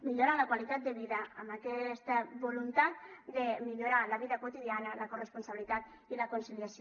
millorar la qualitat de vida amb aquesta voluntat de millorar la vida quotidiana la corresponsabilitat i la conciliació